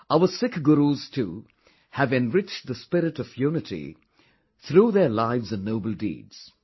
Our Sikh Gurus too have enriched the spirit of unity through their lives and noble deeds